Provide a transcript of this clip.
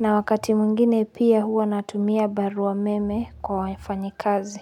na wakati mwingine pia huwa natumia barua meme kwa wafanyi kazi.